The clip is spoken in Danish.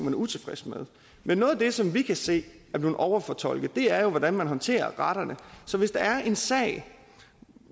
er utilfreds med men noget af det som vi kan se er blevet overfortolket er jo hvordan man håndterer retterne så hvis der er en sag